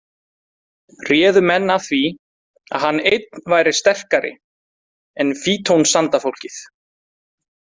Réðu menn af því að hann einn væri sterkari en fítonsandafólkið.